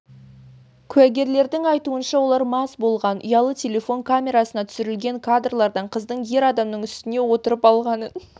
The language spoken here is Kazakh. куәгерлердің айтуынша олар мас болған ұялы телефон камерасына түсірілген кадрлардан қыздың ер адамның үстіне отырып алғанын